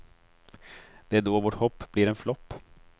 Det är då vårt hopp blir en flopp.